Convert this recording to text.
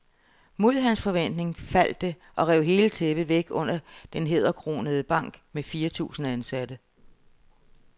Mod hans forventning faldt det og rev hele tæppet væk under den hæderkronede bank med fire tusind ansatte.